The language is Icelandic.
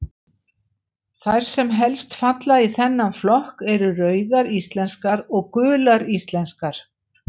Þær sem helst falla í þennan flokk eru Rauðar íslenskar og Gular íslenskar.